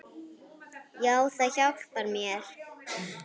Já, það hjálpar mér.